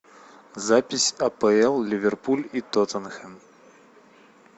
запись апл ливерпуль и тоттенхэм